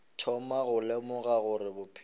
thoma go lemoga gore bophelo